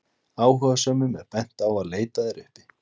áhugasömum er bent á að leita þær uppi